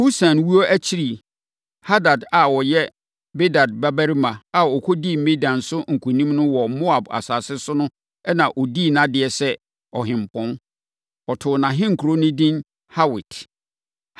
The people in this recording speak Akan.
Husam wuo akyiri Hadad a ɔyɛ Bedad babarima a ɔkɔdii Midian so nkonim wɔ Moab asase so no na ɔdii nʼadeɛ sɛ ɔhempɔn. Wɔtoo nʼahenkuro no edin Hawit.